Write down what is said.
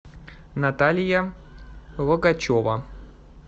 наталья логачева